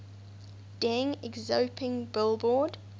deng xiaoping billboard